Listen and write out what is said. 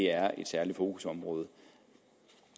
er et særligt fokusområde